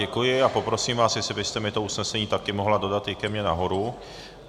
Děkuji a poprosím vás, jestli byste mi to usnesení také mohla dodat i ke mně nahoru.